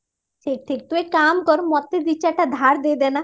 ଠିକ ଠିକ ଠିକ ତୁ ଏକ କାମ କର ମତେ ଦି ଚାରିଟା ଧାର ଦେଇଦେ ନା